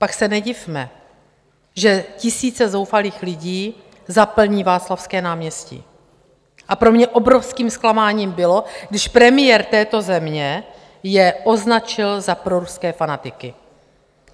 Pak se nedivme, že tisíce zoufalých lidí zaplní Václavské náměstí, a pro mě obrovským zklamáním bylo, když premiér této země je označil za proruské fanatiky.